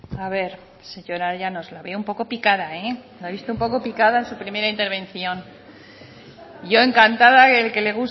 a ver señora llanos la veo un poco picada la he visto un poco picada en su primera intervención yo encantada el que le